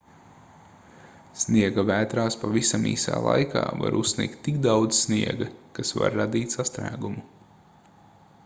sniegavētrās pavisam īsā laika var uzsnigt tik daudz sniega kas var radīt sastrēgumu